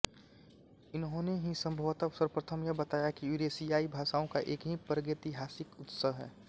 इन्होंने ही संभवत सर्वप्रथम यह बताया कि यूरेशियाई भाषाओं का एक ही प्रागैतिहासिक उत्स है